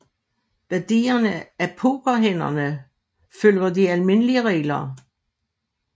Værdierne af pokerhænderne følger de almindelige regler